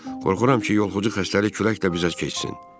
Qorxuram ki, yolxucu xəstəlik külək də bizə keçsin.